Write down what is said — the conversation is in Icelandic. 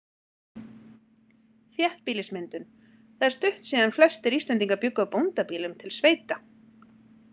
Þéttbýlismyndun Það er stutt síðan flestir Íslendingar bjuggu á bóndabýlum, til sveita.